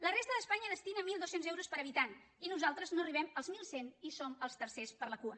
la resta d’espanya destina mil dos cents euros per habitant i nosaltres no arribem als mil cent i som els tercers per la cua